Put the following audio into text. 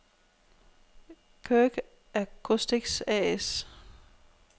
Kirk Acoustics A/S